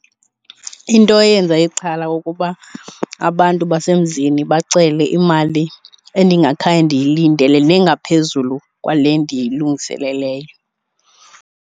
Into eyenza ixhala ukuba abantu basemzini bacele imali endingakhange ndiyilindele nengaphezulu kwale ndiyilungiseleleyo.